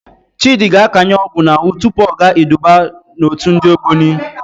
Chịdị ga-akanye ọgwụ n'ahụ tupu ọ gaa iduba n'òtù ndị Ogboni.